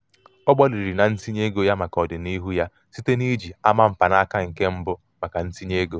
ọ gbalịrị na ntinye ego ya maka ọdinihu ya site n'iji ama mkpanaka nke mbụ maka ntinye ego.